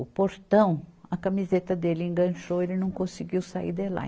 O portão, a camiseta dele enganchou, ele não conseguiu sair de lá.